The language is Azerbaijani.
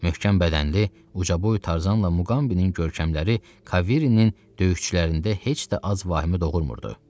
Möhkəm bədənli uca boy Tarzan və Muqambinin görkəmləri Kaviri'nin döyüşçülərində heç də az vahimə doğurmurdu.